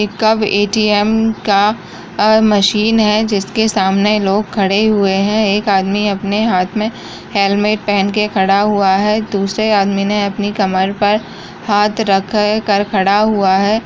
एक कब ए.टी.एम. का मशीन है जिसके सामने लोग खड़े हुए हैं एक आदमी अपने हाथ में हेल्मेट पहन के खड़ा हुआ है दूसरे आदमी ने अपनी कमर पर हाथ रख कर खड़ा हुआ है।